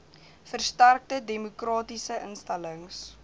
versterkte demokratiese instellings